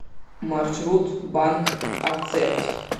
маршрут банк акцепт